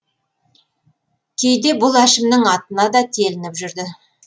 кейде бұл әшімнің атына да телініп жүрді